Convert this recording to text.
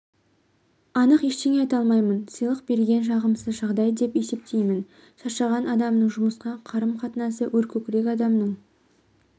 анық ештеңе айта алмаймын сыйлық берген жағымсыз жағдай деп есептеймін шаршаған адамның жұмысқа қарым-қатынасы өркөкірек адамның